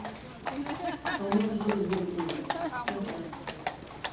а у меня соседи дверь пиздят прям сейчас